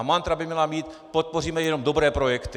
A mantra by měla být: podpoříme jenom dobré projekty.